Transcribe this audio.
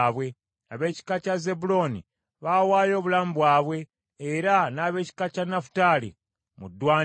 Ab’ekika kya Zebbulooni baawaayo obulamu bwabwe, era n’ab’ekika kya Nafutaali mu ddwaniro.